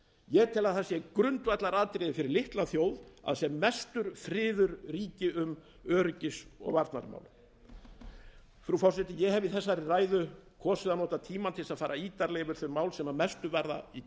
ég tel að það sé grundvallaratriði fyrir litla þjóð að sem mestur friður ríki um öryggis og varnarmál frú forseti ég hef í þessari ræðu kosið að nota tímann til að fara ítarlega yfir þau mál sem mestu varða í